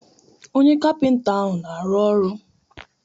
Onye kapịnta ahụ na-arụ ọrụ.